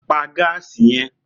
Pa gáàsì ye̩n!